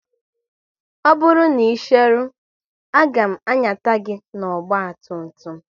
Ọ bụrụ na ị cheru, a ga m anyata gị n'ọgba tum tum m